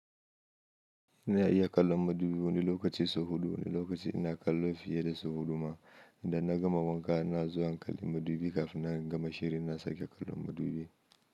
Ina iya kallon madubi wani lokaci su hudu, wani lokaci ina kallo fiye da su huduma. Idan na gama wanka, na zo in kalli madubi kafin na gama shiri na sake kallon madubi.